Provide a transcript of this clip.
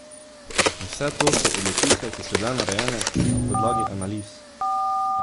In vse to so odločitve, ki so bile narejene na podlagi analiz!